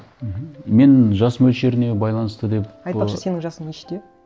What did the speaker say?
мхм мен жас мөлшеріне байланысты деп айтпақшы сенің жасың нешеде